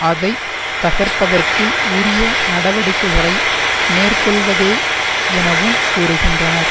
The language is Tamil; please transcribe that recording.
அதை தகர்ப்பதற்கு உரிய நடவடிக்கைகளை மேற்கொள்வதேயெனவும் கூறுகின்றனர்